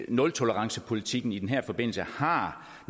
nultolerancepolitikken i den her forbindelse har